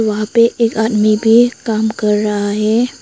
वहां पे एक आदमी भी काम कर रहा है।